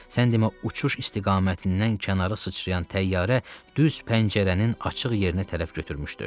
Sən demə, uçuş istiqamətindən kənara sıçrayan təyyarə düz pəncərənin açıq yerinə tərəf götürmüşdü.